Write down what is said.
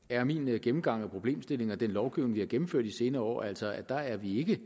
er min gennemgang af problemstillingen og den lovgivning vi har gennemført de senere år altså at der er vi ikke